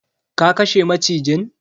ka kashe macijin?